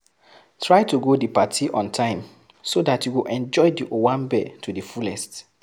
Try to go di party on time so dat you go enjoy di owambe to di fullest